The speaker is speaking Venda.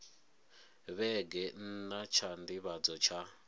vhege nna tsha nḓivhadzo tsha